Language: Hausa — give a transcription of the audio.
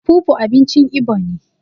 fufu abinci Igbo ne